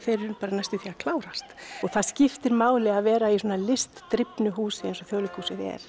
klárast og það skiptir máli að vera í svona húsi eins og Þjóðleikhúsið er